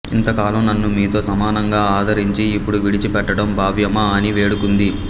ఇంత కాలం నన్ను మీతో సమానంగా ఆదరించి ఇప్పుడు విడిచి పెట్టడం భావ్యమా అని వేడుకుంది